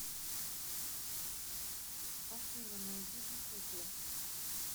афина найди бикукле